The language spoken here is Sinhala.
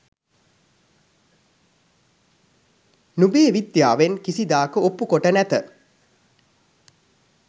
නුබේ විද්‍යාවෙන් කිසිදාක ඔප්පු කොට නැත.